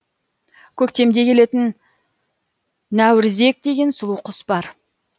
көктемде келетін нәурізек деген сұлу құс бар